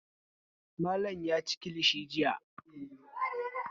Malam ya ci kilishi jiya.